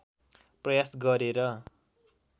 प्रयास गरे र